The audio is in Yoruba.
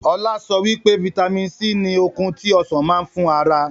Ọlá sọ wípé vitamin C ni okun tí Ọsàn máa ń fún ara.